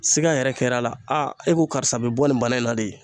Siga yɛrɛ kɛra a la e ko karisa bɛ bɔ nin bana in na de